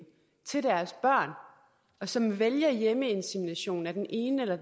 og som vælger hjemmeinsemination af den ene eller